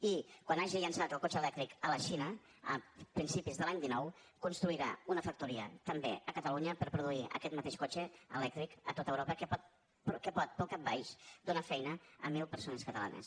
i quan hagi llançat el cotxe elèctric a la xina a principis de l’any dinou construirà una factoria també a catalunya per produir aquest mateix cotxe elèctric a tot europa que pot pel cap baix donar feina a mil persones catalanes